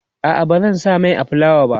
a'a bazan sa Mai a fulawa ba